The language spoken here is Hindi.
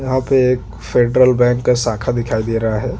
यहाँ पे एक सेन्ट्रल बैंक का शाखा दिखाई दे रहा है।